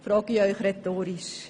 – So frage ich Sie rhetorisch.